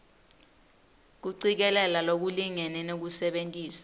kucikelela lokulingene nekusebentisa